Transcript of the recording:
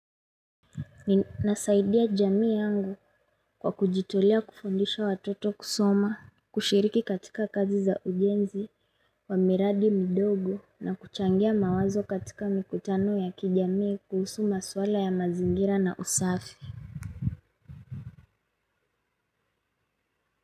Ninasaidia jamii yangu kwa kujitolea kufundisha watoto kusoma, kushiriki katika kazi za ujenzi wa miradi midogo na kuchangia mawazo katika mikutano ya kijamii kuhusu maswala ya mazingira na usafi.